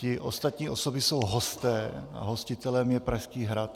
Ty ostatní osoby jsou hosté a hostitelem je Pražský hrad.